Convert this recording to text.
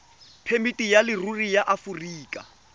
phemiti ya leruri ya aforika